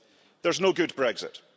There is no good Brexit.